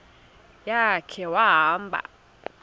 ya khe wahamba